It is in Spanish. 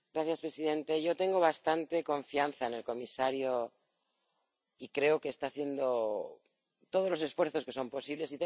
Señor presidente, yo tengo bastante confianza en el comisario y creo que está haciendo todos los esfuerzos que son posibles.